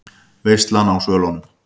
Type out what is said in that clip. VEISLAN Á SVÖLUNUM